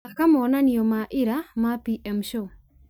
thaaka moonanio ma ira ma pm show